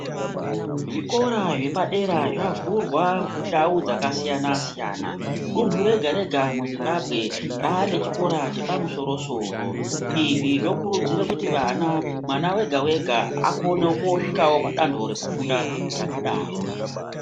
Zvikora zvepadera zvavhurwa ndau dzakasiyana-siyana. Dunhu rega-rega muzimbambwe rane chikora chepamusoro-soro. Izvi zvokurudzira kuti mwana mwana vega-vega akone kusvikavo padanho rekufunda rakadaro.